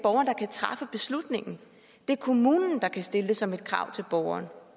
træffe beslutningen det er kommunen der kan stille det som et krav til borgeren